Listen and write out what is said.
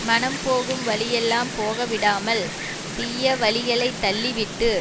மனம் போகும் வழியெல்லாம் போக விடாமல் தீய வழிகளை தள்ளிவிட்டு